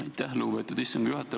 Aitäh, lugupeetud istungi juhataja!